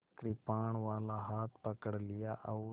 कृपाणवाला हाथ पकड़ लिया और